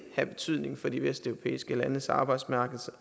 have betydning for de vesteuropæiske landes arbejdsmarkeder